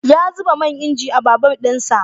Ya zuba man inji a babur din sa.